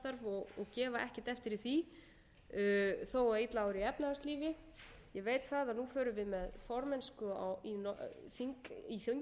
og gefa ekkert eftir í því þó að illa ári í efnahagslífi ég veit að nú förum við með formennsku í